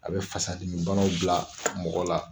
A bɛ fasadimibanaw bila mɔgɔ la